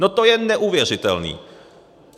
No to je neuvěřitelné!